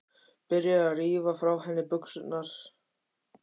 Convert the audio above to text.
Byrjar að rífa frá henni buxurnar.